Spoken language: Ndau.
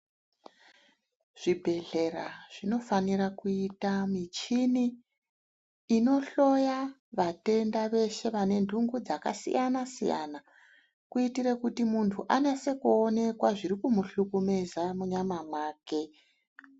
Zvibhedhlera zvinofanira kuita michini inohloya vatenda veshe vane ndungu dzakasiyana-siyana kuitire kuti muntu anase kuonekwa zviri kumuhlukumeza munyama mwake.